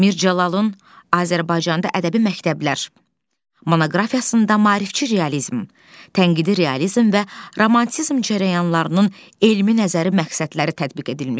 Mircəlalın Azərbaycanda ədəbi məktəblər monoqrafiyasında maarifçi realizm, tənqidi realizm və romantizm cərəyanlarının elmi nəzəri məqsədləri tədqiq edilmişdir.